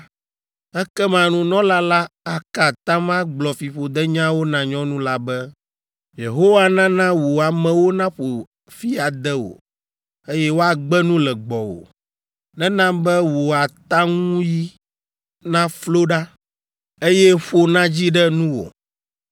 ekema nunɔla la aka atam agblɔ fiƒodenyawo na nyɔnu la be, “Yehowa nana wò amewo naƒo fi ade wò, eye woagbe nu le gbɔwò; nena be wò ataŋuyi naflo ɖa, eye ƒo nadzi ɖe nuwò.